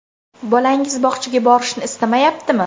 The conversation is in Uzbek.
Bolangiz bog‘chaga borishni istamayaptimi?